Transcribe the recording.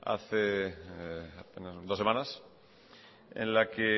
hace apenas dos semanas en la que